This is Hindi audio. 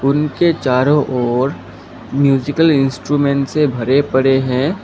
उनके चारों ओर म्यूजिकल इंस्ट्रूमेंट से भरे पड़े हैं।